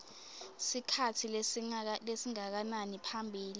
sikhatsi lesingakanani ngaphambi